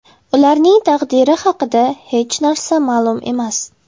Ularning taqdiri haqida hech narsa ma’lum emas.